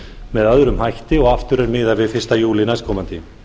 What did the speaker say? með öðrum hætti og aftur er miðað við fyrsta júlí næstkomandi